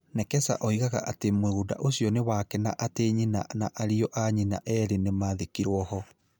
Nekesa oigaga atĩ mũgũnda ũcio nĩ wake na atĩ nyina na ariũ a nyina erĩ nĩ maathikirũo ho.